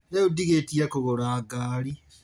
Rĩu ndigĩtie kũgũra ngari